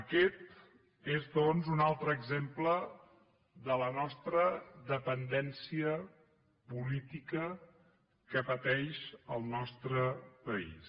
aquest és doncs un altre exemple de la nostra dependència política que pateix el nostre país